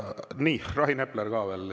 Nii, Rain Epler ka veel.